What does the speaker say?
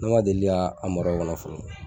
Ne ma deli ka mara o kɔnɔ fɔlɔ.